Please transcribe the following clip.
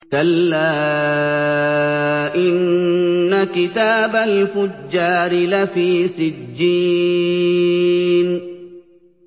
كَلَّا إِنَّ كِتَابَ الْفُجَّارِ لَفِي سِجِّينٍ